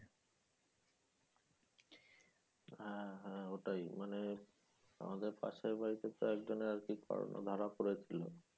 হা হা ওটাই মানে আমাদের পাশের বাড়িতে তো এক জনের corona ধরা পড়ে ছিল